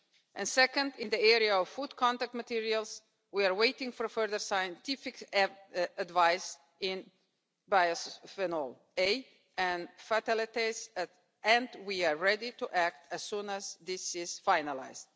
and second, in the area of food contact materials, we are waiting for further scientific advice in Bisphenol A and fatalities, and we are ready to act as soon as this is finalised.